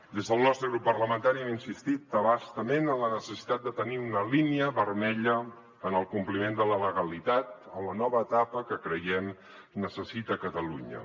des del nostre grup parlamentari hem insistit a bastament en la necessitat de tenir una línia vermella en el compliment de la legalitat en la nova etapa que creiem que necessita catalunya